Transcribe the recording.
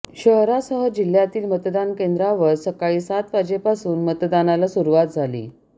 शहरासह जिह्यातील मतदान केंद्रांवर सकाळी सात वाजेपासून मतदानाला सुरुवात झाली